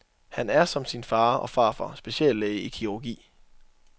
Han er som sin far og farfar speciallæge i kirurgi.